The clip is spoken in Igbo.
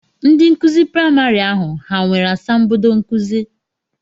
Ndị nkụzi praịmarị ahụ ha nwere asambodo nkụzi?